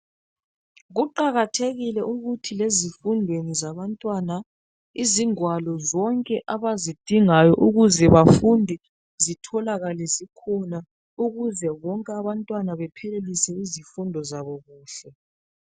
Kuqakathekile ukuthi lezifundweni zabantwana izingwalo zonke abazidingayo ukuze bafunde zitholakale zikhona ukuze bonke abantwana baphelelise izifundo zabo kuhle.